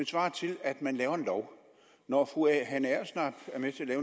svarer til at man laver en lov når fru hanne agersnap er med til at